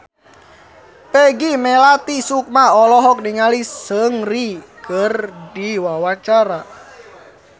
Peggy Melati Sukma olohok ningali Seungri keur diwawancara